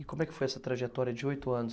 E como é que foi essa trajetória de oito anos?